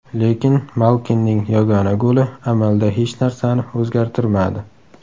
Lekin Malkinning yagona goli amalda hech narsani o‘zgartirmadi.